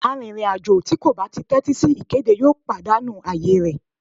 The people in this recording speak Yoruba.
Àrìnrìn-àjò tí kò bá tẹ́tí sí ìkéde yóò pàdánù ààyè rẹ̀.